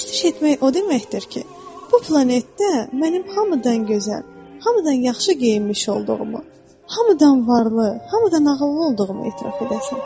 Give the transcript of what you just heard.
Pərəstiş etmək o deməkdir ki, bu planetdə mənim hamıdan gözəl, hamıdan yaxşı geyinmiş olduğumu, hamıdan varlı, hamıdan ağıllı olduğumu etiraf edəsən.